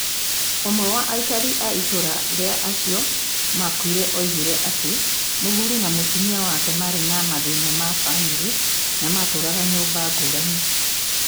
ũmwe wa aikari a ĩtũũra rĩa acio maakuire, oigire atĩ mũthuri na mũtumia wake maarĩ na mathĩna ma bamirĩ na maatũũraga nyũmba ngũrani.